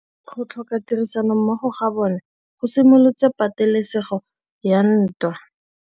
Go tlhoka tirsanommogo ga bone go simolotse patêlêsêgô ya ntwa.